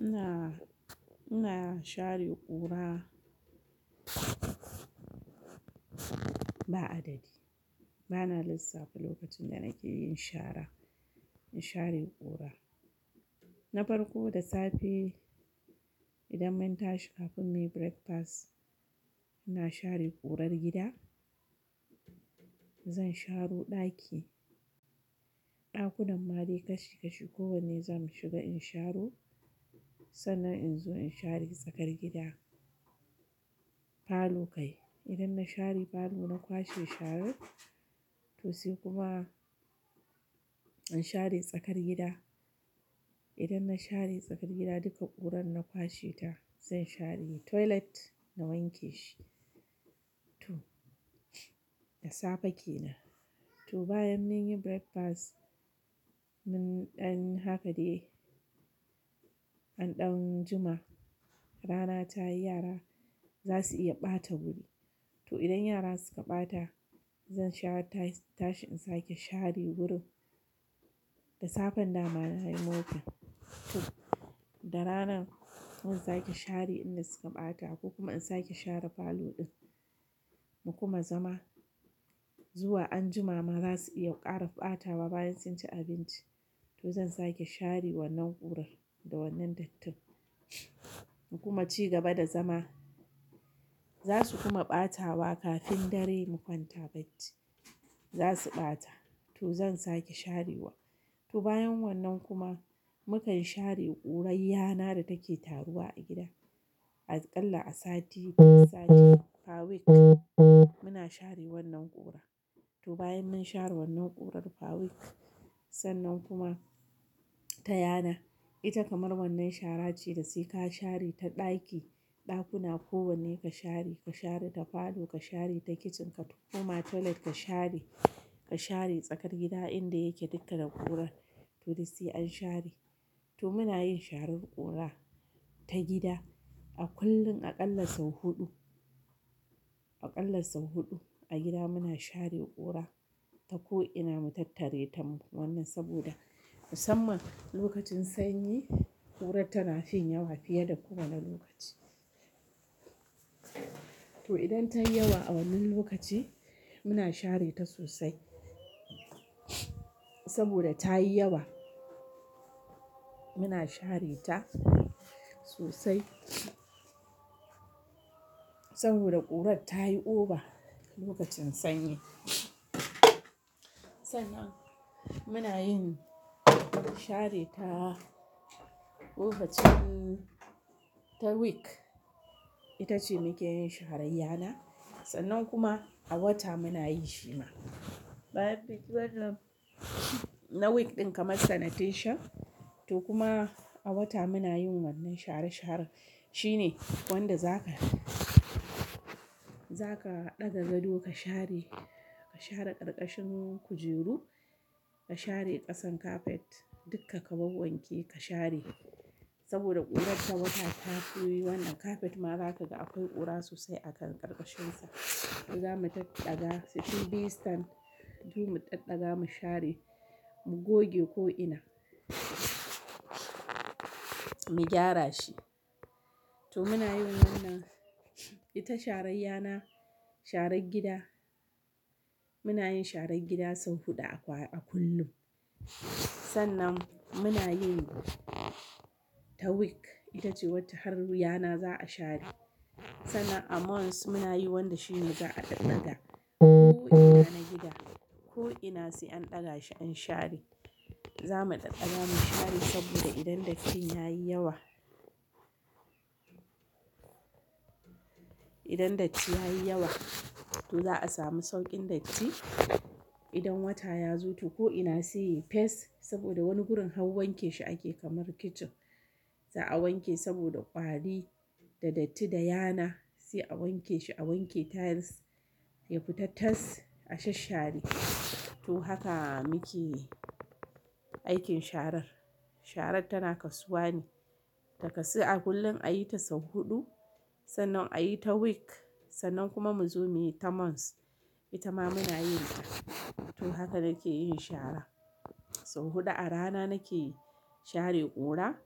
Ina, ina share ƙura ba adadi. Bana lissafi lokacin da nake yin shara, in share ƙura. Na farko da safe idan mun tashi kafin muyi breakfast, ina share ƙurar gida. Zan sharo ɗaki, ɗakunan ma dai kashi kashi kowanne zamu shiga in sharo, sannan in zo in share tsakar gida. Parlour kai, idan na share parlour na kwashe sharar to sai kuma in share tsakar gida. Idan na share tsakar gida duka ƙurar na kwashe ta zan share toilet na wanke shi. To, da safe kenan. To bayan mun yi breakfast mun ɗan haka dai an ɗan jima rana tayi yara zasu iya ɓata wuri. To idan yara suka ɓata zan share ta tashi in sake share wurin. Da safe nan mama na yi mopping, to da rana to zan sake share inda suka ɓata ko kuma in sake share parlour ɗin. Mu kuma zama zuwa anjima ma za su iya ƙara ɓatawa bayan sun ci abinci to zan sake share wannan ƙurar da wannan dattin. In kuma ci gaba da zama, za su kuma ɓatawa kafin dare mu kwanta bacci. Zasu ɓata to zan sake share wa. To bayan wannan kuma mukan share ƙurar yana da take taruwa a gida. Aƙalla a sati, sati per week muna share wannan ƙura. To bayan mun share wannan ƙurar per week sannan kuma ta yana. Ita kamar wannan shara ce da sai ka share ta ɗaki, ɗakuna kowanne ka share, ka share ta parlour, ka share ta kitchen ka kuma toilet ka share, ka share tsakar gida inda yake duka da ƙurar to dai sai an share. To muna yin sharar ƙura ta gida a kullum aƙalla sau huɗu, aƙalla sau huɗu a gida muna share ƙura ta ko'ina mu tattare tam. Wannan saboda musamman lokacin sanyi ƙurar tana fin yawa fiye da kowane lokaci. To idan ta yi yawa a wannan lokaci muna share ta sosai. Saboda ta yi yawa muna share ta sosai. Saboda ƙurar ta yi oba lokacin sanyi. Sannan muna yin share ta kofacin ta week ita ce muke yin sharayyana. Sannan kuma a wata muna yin shima. Bayan munyi wannan, na week ɗin kamar sanitation to kuma a wata muna yin wannan share sharen. Shi ne wanda zaka, zaka ɗaga gado ka share, ka share karkashin kujeru, ka share ƙasan carpet duka ka bawwanke ka share saboda ƙurar ta wata ta koyi wannan carpet ma za ka ga akwai ƙura sosai a kan ƙarƙashinsa. To zamu taɗɗaƙa su TV stand mu taddaƙa mu share mu goge ko'ina, mu gyara shi. To muna yin wannan, ita sharayyana sharar gida muna yin sharar gida sau huɗu a kwa-- a kullum. Sannan muna yin ta week ita ce wata har yana za a share. Sannan a month muna yi wanda shi mu za a ɗaɗɗaƙa ko'ina na gida ko'ina sai an ɗaga shi an share. Za mu ɗaɗɗaƙa mu share saboda idan datti ya yi yawa, idan datti ya yi yawa to za a sami sauƙin datti. Idan wata ya zo to ko'ina sai yi fes saboda wani gurin har wanke shi ake kamar kitchen. Za a wanke saboda ƙwari da datti da yana sai a wanke shi a wanke tiles yafi tatas asha share. To haka muke aikin sharar. Sharar tana kasuwa ne, ta kasuwa a kullum ayi ta sau huɗu sannan ayi ta week sannan kuma muzo muyi ta month. Ita ma muna yin ta. To haka nake yin shara. Sau huɗu a rana nake share ƙura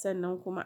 sannan kuma.